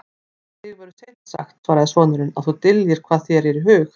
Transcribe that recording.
Um þig verður seint sagt, svaraði sonurinn,-að þú dyljir hvað þér er í hug.